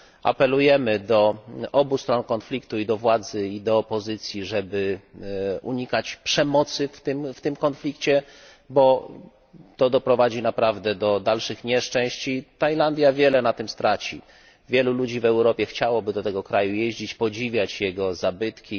Apelujemy do obu stron konfliktu i do władzy, i do opozycji żeby unikać przemocy w tym konflikcie, bo to doprowadzi naprawdę do dalszych nieszczęść i Tajlandia wiele na tym straci. Wielu ludzi w Europie chciałoby do tego kraju jeździć, podziwiać jego zabytki,